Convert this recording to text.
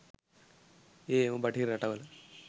ඒ එම බටහිර රටවල